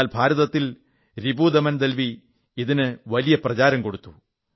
എന്നാൽ ഭാരതത്തിൽ രിപുദമൻ ദൽവി ഇതിന് വലിയ പ്രചാരം കൊടുത്തു